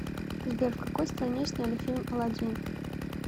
сбер в какой стране сняли фильм алладин